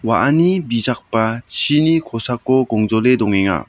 a·ani bijakba chini kosako gongjole dongenga.